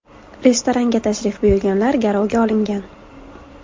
Restoranga tashrif buyurganlar garovga olingan.